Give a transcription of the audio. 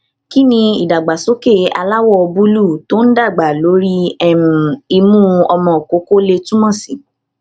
kí ni idagbasoke aláwọ búlúù tó ń dàgbà lórí um imu ọmọ koko lè túmọ sí